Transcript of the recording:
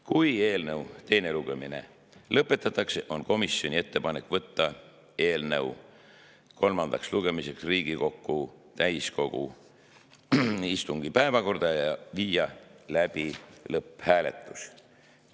Kui eelnõu teine lugemine lõpetatakse, on komisjoni ettepanek võtta eelnõu kolmandaks lugemiseks Riigikogu täiskogu istungi päevakorda ja viia läbi lõpphääletus.